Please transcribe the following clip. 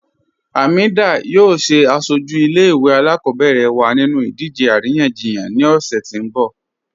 Hamedah yọọ sẹ asọju ilẹ̀-ìwé alákọbẹ̀rẹ̀ wa nínú idìje aríyànjíyàn ni ọṣẹ̀ ti n bọ̀.